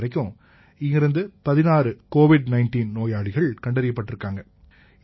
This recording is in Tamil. இன்னைக்கு வரைக்கும் இங்கிருந்து 16 கோவித் 19 நோயாளிகள் கண்டறியப்பட்டிருக்காங்க